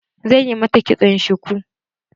Zan yi mata kitson shuku.